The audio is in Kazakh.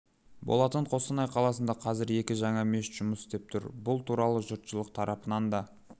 болатын қостанай қаласында қазір екі жаңа мешіт жұмыс істеп тұр бұл туралы жұртшылық тарапынан да